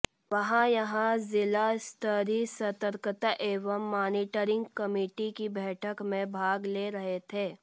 वह यहां जिला स्तरीय सतर्कता एवं मानीटरिंग कमेटी की बैठक में भाग ले रहे थे